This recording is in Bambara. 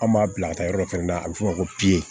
An b'a bila ka taa yɔrɔ dɔ fɛnɛ na a bɛ f'o ma ko